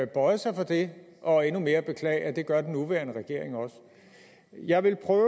bøjede sig for det og endnu mere beklage at det gør den nuværende regering også jeg vil prøve